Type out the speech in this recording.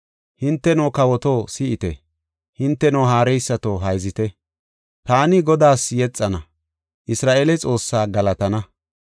Hinteno kawoto, si7ite; Hinteno haareysato, hayzite; Taani Godaas yexana. Isra7eele Xoossaa galatana.